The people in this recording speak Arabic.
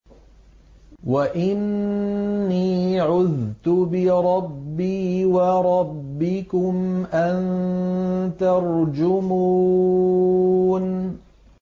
وَإِنِّي عُذْتُ بِرَبِّي وَرَبِّكُمْ أَن تَرْجُمُونِ